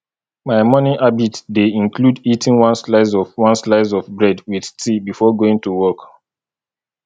my morning habit dey include eating one slice of one slice of bread with tea before going to work